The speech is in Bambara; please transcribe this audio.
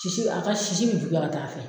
Sisi a ka sisi bɛ juguya ka t'a fɛ.